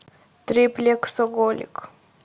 триплексоголик